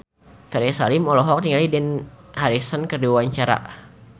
Ferry Salim olohok ningali Dani Harrison keur diwawancara